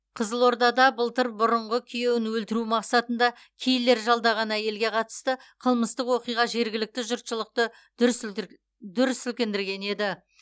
қызылордада былтыр бұрынғы күйеуін өлтіру мақсатында киллер жалдаған әйелге қатысты қылмыстық оқиға жергілікті жұртшылықты дүр сілкіндірген еді